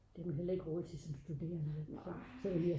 det har man heller ikke råd til som studerende vel?